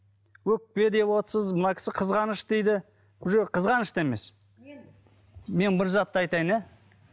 өкпе деп отырсыз мына кісі қызғаныш дейді бұл жер қызғаныш та емес мен бір затты айтайын иә